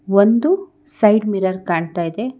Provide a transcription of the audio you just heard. ಒಂದು side mirror ಕಾಣ್ತಾ ಇದೆ.